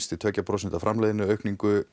til tvö prósent framleiðniaukningu